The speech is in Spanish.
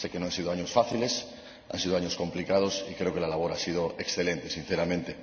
Sé que no han sido años fáciles, han sido años complicados, y creo que la labor ha sido excelente, sinceramente.